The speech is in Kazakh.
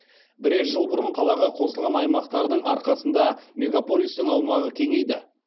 бірер жыл бұрын қалаға қосылған аймақтардың арқасында мегаполистің аумағы кеңейді